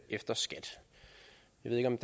en